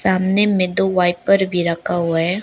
सामने में दो वाइपर भी रखा हुआ है।